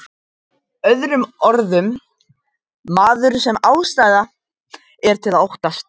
Með öðrum orðum, maður sem ástæða er til að óttast.